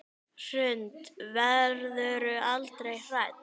Hrund: Verðurðu aldrei hrædd?